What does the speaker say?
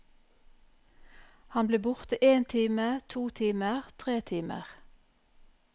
Han ble borte én time, to timer, tre timer.